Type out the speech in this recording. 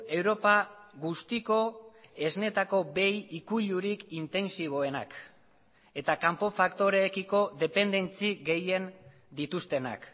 europa guztiko esneetako behi ikuilurik intentsiboenak eta kanpo faktoreekiko dependentzi gehien dituztenak